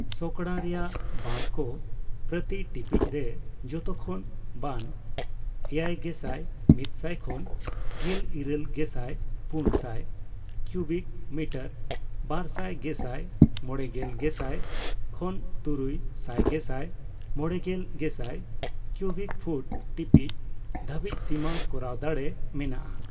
ᱥᱚᱠᱲᱟ ᱨᱮᱭᱟᱜ ᱵᱟᱸᱫᱷ ᱠᱚ ᱯᱨᱚᱛᱤ ᱴᱤᱯᱤᱪᱨᱮ ᱡᱷᱚᱛᱚᱠᱷᱚᱱ ᱵᱟᱱ ᱮᱭᱟᱭᱜᱮᱥᱟᱭ ᱢᱤᱛᱥᱟᱭ ᱠᱷᱚᱱ ᱜᱮᱞ ᱤᱨᱟᱹᱞ ᱜᱮᱥᱟᱭ ᱯᱩᱱ ᱥᱟᱭ ᱠᱤᱣᱵᱤᱠ ᱢᱤᱴᱟᱨ ᱵᱟᱨ ᱥᱟᱭᱜᱮᱥᱟᱭ ᱢᱚᱲᱮᱜᱮᱞ ᱜᱮᱥᱟᱭ ᱠᱷᱚᱱ ᱛᱩᱨᱩᱭ ᱥᱟᱭᱜᱮᱥᱟᱭ ᱢᱚᱲᱮᱜᱮᱞ ᱜᱮᱥᱟᱭ ᱠᱤᱣᱵᱤᱣ ᱯᱷᱩᱴ/ ᱴᱤᱯᱤᱪ) ᱫᱷᱟᱹᱵᱤᱡ ᱥᱤᱢᱟᱹ ᱠᱚᱨᱟᱣ ᱫᱟᱲᱮ ᱢᱮᱱᱟᱜᱼᱟ ᱾